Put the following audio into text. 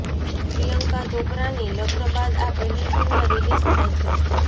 પ્રિયંકા ચોપરાની લગ્ન બાદ આ પહેલી ફિલ્મ રિલીઝ થાય છે